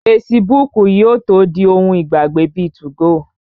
Fesibúùkù yóò tó di ohun ìgbàgbé bíi 2go